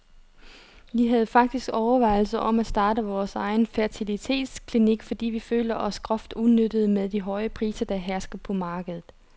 Vi havde faktisk overvejelser om at starte vores egen fertilitetsklinik, fordi vi følte os groft udnyttede med de høje priser, der hersker på markedet.